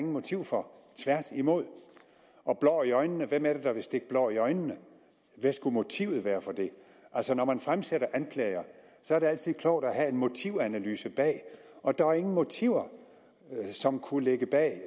motiv for tværtimod blår i øjnene hvem er det der vil stikke blår i øjnene hvad skulle motivet være for det altså når man fremsætter anklager er det altid klogt at have en motivanalyse bag og der er ingen motiver som kunne ligge bag at